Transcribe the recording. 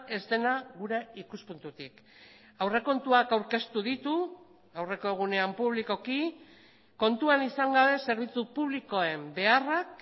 ez dena gure ikuspuntutik aurrekontuak aurkeztu ditu aurreko egunean publikoki kontuan izan gabe zerbitzu publikoen beharrak